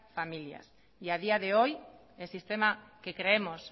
familias y a día de hoy el sistema que creemos